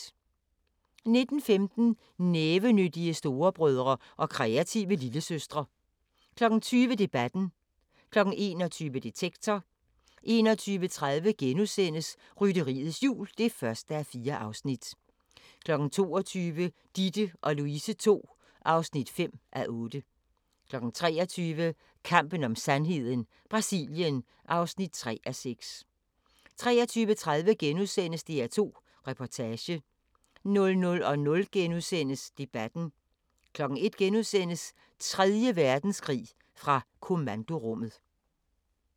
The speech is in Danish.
19:15: Nævenyttige storebrødre og kreative lillesøstre 20:00: Debatten 21:00: Detektor 21:30: Rytteriets Jul (1:4)* 22:00: Ditte & Louise II (5:8) 23:00: Kampen om sandheden: Brasilien (3:6) 23:30: DR2 Reportage * 00:00: Debatten * 01:00: Tredje Verdenskrig – fra kommandorummet *